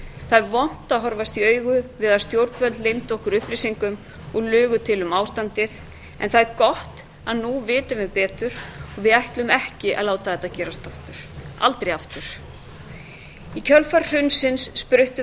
það er vont að horfast í augu við að stjórnvöld leyndu okkur upplýsingum og lugu til um ástandið en það er gott að nú vitum við betur og við ætlum ekki að láta þetta gerast aftur aldrei aftur í kjölfar hrunsins spruttu